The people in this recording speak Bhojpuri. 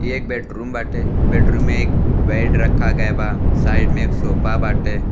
ये एक बैडरूम बाटे। बैडरूम में एक बेड रखा गई बा। साइड में एक सोफा बाटे।